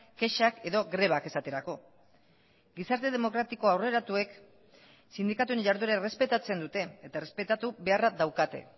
kexak edo grebak esaterako gizarte demokratiko aurreratuek sindikatuen jarduera errespetatzen dute eta errespetatu beharra daukate